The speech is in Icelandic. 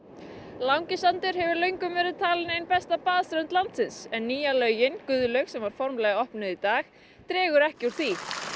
Langisandur hefur löngum verið talin ein besta baðströnd landsins en nýja laugin Guðlaug sem var formlega opnuð í dag dregur ekki úr því